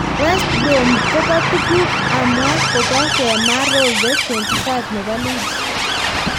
West Brom kobo tuguk amwa kobo Kemar Roofe, 25, nebo Leeds.